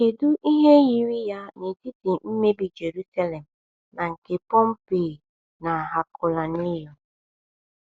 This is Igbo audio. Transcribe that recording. Kedu ihe yiri ya n’etiti mmebi Jerusalem na nke Pompeii na Herculaneum?